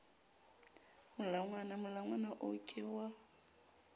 molangwana molangwana oo ke wa